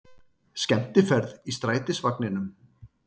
Skemmtiferð í strætisvagninum